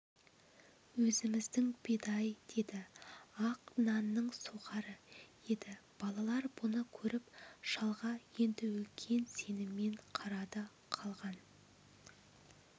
өзіміздің бидай деді ақ нанның сухарі еді балалар бұны көріп шалға енді үлкен сеніммен қарады қалған